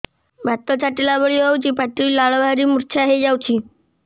ବାତ ଛାଟିଲା ଭଳି ହଉଚି ପାଟିରୁ ଲାଳ ବାହାରି ମୁର୍ଚ୍ଛା ହେଇଯାଉଛି